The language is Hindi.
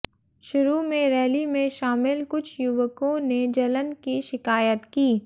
शुरू में रैली में शामिल कुछ युवकों ने जलन की शिकायत की